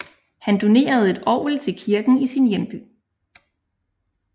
Han donerede et orgel til kirken i sin hjemby